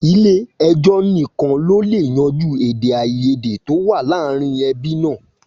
Ilé ẹjọ́ nìkan ló lè yanjú èdè àìyédè tó wà láàárín ẹbí náà